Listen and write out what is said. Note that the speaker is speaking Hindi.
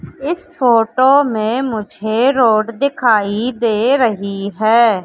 इस फोटो में मुझे रोड दिखाई दे रही है।